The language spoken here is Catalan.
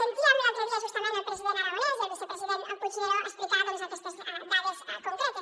sentíem l’altre dia justament el president aragonès i el vicepresident puigneró explicar doncs aquestes dades concretes